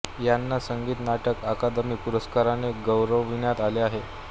यांना संगीत नाटक अकादमी पुरस्काराने गौरविण्यात आले आहे